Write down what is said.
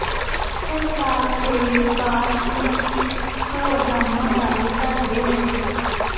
ਸਰਕਾਰ ਦੇ ਵਿਕਾਸ ਮੁਖੀ ਪ੍ਰੋਗਰਾਮਾਂ ਬਾਰੇ ਦਸਦੇ ਹੋਏ ਸ